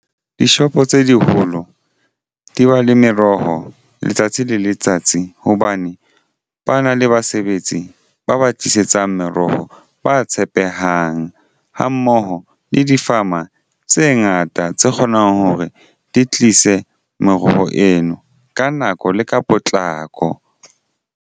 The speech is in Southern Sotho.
Dishopo tse diholo di ba le meroho letsatsi le letsatsi hobane ba na le basebetsi ba ba tlisetsang meroho ba tshepehang ha mmoho le di-farmer tse ngata tse kgonang hore di tlise moroho eno ka nako le ka potlako.